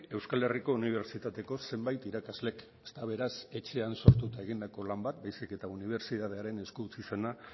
euskal herriko unibertsitateko zenbait irakaslek ez da beraz etxean sortu eta egindako lan bat baizik eta unibertsitatearen esku utzi zena